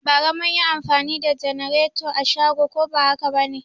Bara mun yi anfani da janareto a shago ko ba haka ba ne?